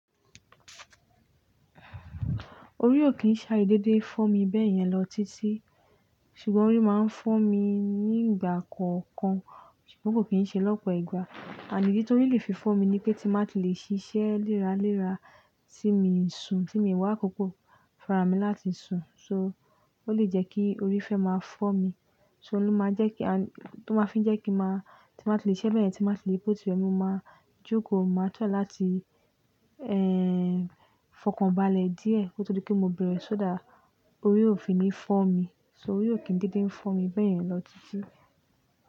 Orí ò kí ń ṣá i dédé fọ́ mi bẹ́yẹn lọ títí, ṣùgbọ́n orí máa ń fọ́ mi ní ìgbà kọ̀ọ̀kan ṣùgbọ́n kò kí ń ṣe lọ́pọ̀ ìgbà. And idi tóri lè fi fọ́ mi ni pé tí má tí lè ṣiṣẹ́ léra léra tí mi ń sùn tí mi wá àkókó farami láti sùn, so ó lè jẹ́ kí orí fẹ́ máa fọ́ mi, so ló máa jẹ́ kí a-- tó máa fi ń jẹ́ kí máa tí má tí lè ṣe bẹ́yẹn tí má tí lè po ti rẹmi, mo máa jókòó, mo máa try láti, ehn, fọkànbalẹ̀ díẹ̀ kó tó di pe mo bẹ̀rẹ̀ sódà orí ò fi ní fọ́ mi, so orí ò kí ń dédé ń fọ́ mi bẹ́yẹn lọ títí.